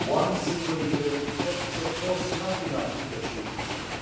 One single year is, of course, not enough to achieve this aim,